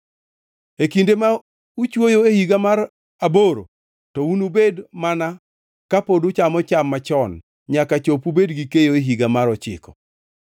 E kinde ma uchwoyo e higa mar aboro to unubed mana kapod uchamo cham machon nyaka chop ubed gi keyo e higa mar ochiko.